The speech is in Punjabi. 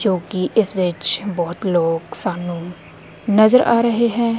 ਜੋ ਕਿ ਇਸ ਵਿੱਚ ਬਹੁਤ ਲੋਗ ਸਾਨੂੰ ਨਜ਼ਰ ਆ ਰਹੇ ਹੈਂ।